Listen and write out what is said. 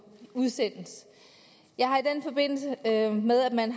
udsendes jeg har i forbindelse med at man